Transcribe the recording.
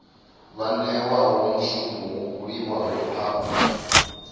newaho mushumo wo buliwaho afho